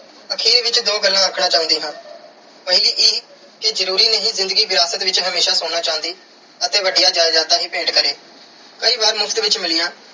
ਆਖਿਰ ਵਿੱਚ ਦੋ ਗੱਲਾਂ ਆਖਣਾ ਚਾਹੁੰਦੀ ਹਾਂ। ਪਹਿਲੀ ਇਹ ਕਿ ਜ਼ਰੂਰੀ ਨਹੀਂ ਕਿ ਹਮੇਸ਼ਾ ਜ਼ਿੰਦਗੀ ਵਿਰਾਸਤ ਵਿੱਚ ਸੋਨਾ ਚਾਂਦੀ ਅਤੇ ਵੱਡੀਆਂ ਜਾਇਦਾਦਾਂ ਹੀ ਭੇਟ ਕਰੇ। ਕਈ ਵਾਰ ਮੁਫ਼ਤ ਵਿੱਚ ਮਿਲੀਆਂ